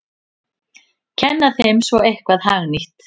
Kenna þeim svo eitthvað hagnýtt!